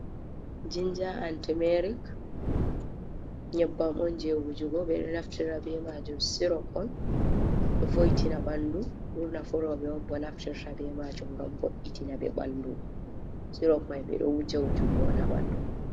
jinja and tumeric nyebbam on je wujugo bedo naftira be majum, sirop on voitina bandu ɓurna four roɓe on bo naftirta be majum ngam vo’itina be bandu, sirop mai ɓe ɗo wujja wujugo on ha ɓandu.